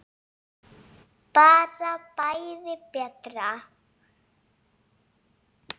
Bara bæði betra.